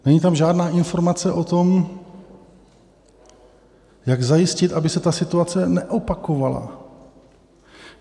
Není tam žádná informace o tom, jak zajistit, aby se ta situace neopakovala.